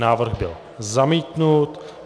Návrh byl zamítnut.